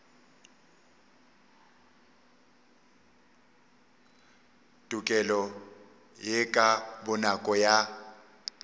tokelo ye ka bonako ya